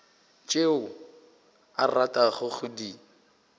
tšeo o ratago go di